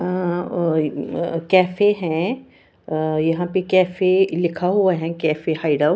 अ cafe है और यहाँ पे कैफे लिखा हुआ है कैफे हाइडआउट ।